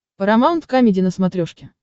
парамаунт камеди на смотрешке